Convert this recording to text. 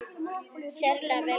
Sérlega vel gert.